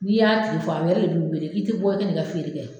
N'i y'a tigi fɔ, a yɛrɛ le b'i wele k'i tɛ bɔ i kɛ n'i ka feere kɛ.